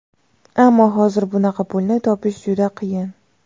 Ammo hozir bunaqa pulni topish juda qiyin.